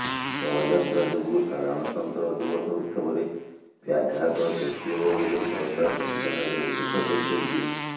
ଶୋଭାଯାତ୍ରା ଯୋଗୁଁ ସାଧାରଣତନ୍ତ୍ର ଦିବସ ଉତ୍ସବରେ ବ୍ୟାଘାତ ସୃଷ୍ଟିହେବ ବୋଲି ସରକାର ପିଟିସନରେ ଉଲ୍ଲେଖ କରିଛନ୍ତି